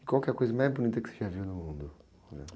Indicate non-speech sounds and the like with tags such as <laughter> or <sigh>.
E qual que é a coisa mais bonita que você já viu no mundo? <unintelligible>